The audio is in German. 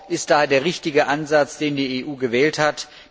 ist daher der richtige Ansatz, den die EU gewählt hat.